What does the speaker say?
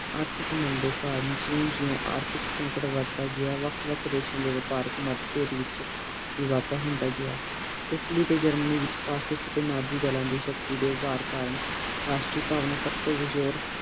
ਆਰਥਿਕ ਮੰਦੀ ਕਾਰਨ ਜਿਓਂ ਜਿਓਂ ਆਰਥਿਕ ਸੰਕਟ ਵਧਦਾ ਗਯਾ ਵੱਖ ਵੱਖ ਦੇਸ਼ਾਂ ਦੇ ਵਪਾਰਕ ਮਤਭੇਦ ਚ ਵੀ ਵਾਧਾ ਹੁੰਦਾ ਗਯਾ ਇਟਲੀ ਤੇ ਜਰਮਨੀ ਚ ਫੈਂਸਲੇ ਚ ਨੰਜੀ ਨਾਨਜੀ ਦਾਲਾਂ ਦੀ ਸ਼ਕਤੀ ਦੇ ਉਪਰ ਕਰਨ ਰਾਸਟਰੀ ਭਾਵਨਾ ਸਬਤੋ